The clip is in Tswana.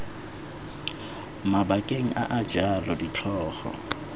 mabakeng a a jalo ditlhogo